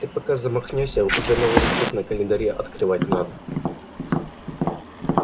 ты пока замахнёшься уже новый листок на календаре отрывать надо